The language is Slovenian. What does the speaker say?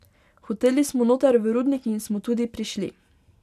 Hoteli smo noter v rudnik in smo tudi prišli.